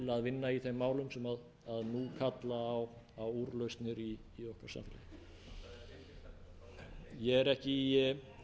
vinna í þeim málum sem nú kalla á úrlausnir í okkar samfélagi ég er ekki í